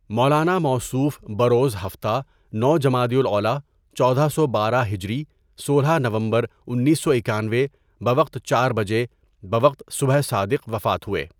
مولاناموصوف بروزہفتہ، نوجمادی الاولیٰ، چودہ سو بارہ ہجری سولہ نومبرانیس سو اکانوے بوقت چاربجےبوقت صبح صادق وفات ہوئے.